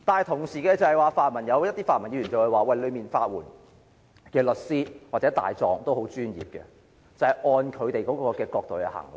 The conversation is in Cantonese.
同時，有些泛民議員會說法援署的律師或大狀相當專業，是會按照他們的角度衡量。